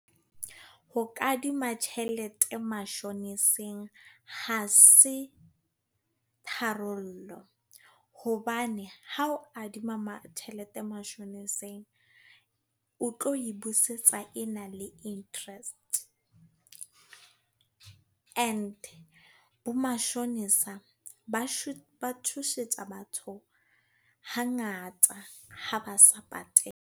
Ho kadima tjhelete mashoniseng, ha se tharollo. Hobane ha o adima tjhelete mashoneseng, o tlo e busetsa e na le interest. E ne bomashonisa ba tshosetsa batho, hangata ha ba sa patale.